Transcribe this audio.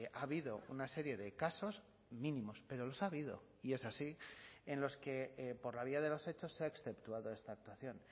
ha habido una serie de casos mínimos pero los ha habido y es así en los que por la vía de los hechos se ha exceptuado esta actuación